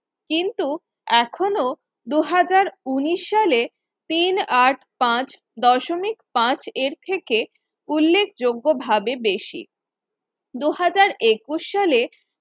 কিন্তু এখনো দুহাজার উনিশ সালে তিন আট পাচ দশমিক পাচ এর থেকে উল্লেখযোগ্য ভাবে বেশি। দুহাজার একুশ সালে